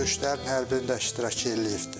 Döyüşlərin hər birində iştirak eləyibdir.